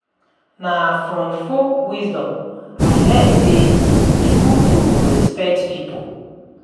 Na from folk wisdom I learn sey e good to respect pipo.